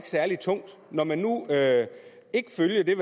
særlig tungt når man nu ikke følger det